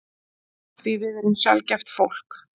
Því við erum sjaldgæft fólk.